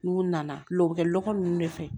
N'u nana lɛ u bɛ kɛ lɔgɔ ninnu de fɛ